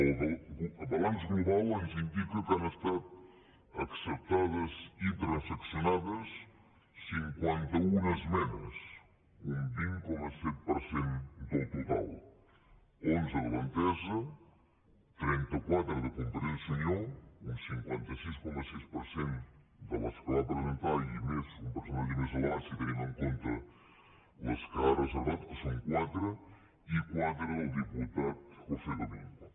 el balanç global ens indica que han estat acceptades i transaccionades cinquanta un esmenes un vint coma set per cent del total onze de l’entesa trenta quatre de convergència i unió un cinquanta sis coma sis per cent de les que va presentar i un percentatge més elevat si tenim en compte les que ha reservat que són quatre i quatre del diputat josé domingo